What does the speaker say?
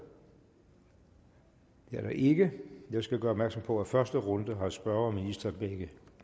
det er der ikke jeg skal gøre opmærksom på at i første runde har spørger og minister hver